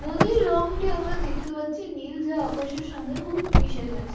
নদীর রংটি আমরা দেখতে পাচ্ছি নীল যা আকাশের সঙ্গে খুব মিশে গেছে।